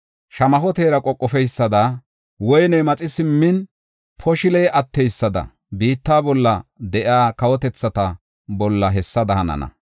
Shamaho teera qoqofeysada, woyne maxi simmin, poshiley atteysada, biitta bolla de7iya kawotethata bolla hessada hanana.